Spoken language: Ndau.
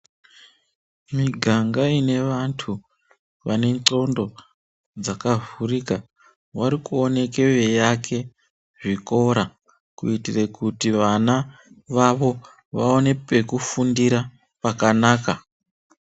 Muganga une vantu vane ngonxo dzakavhurika varikuoneka vachitsvaka zvikora kuitira kuti vana vaone pekufundira pakanaka.